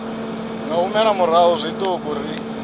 nga humela murahu zwiṱuku ri